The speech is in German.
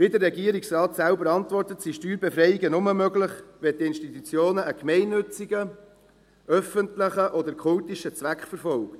Wie der Regierungsrat selber antwortet, sind Steuerbefreiungen nur möglich, wenn die Institutionen einen gemeinnützen, öffentlichen oder kultischen Zweck verfolgen.